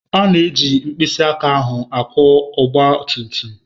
A na-eji mkpịsị aka ahụ akwọ ogba tum tum.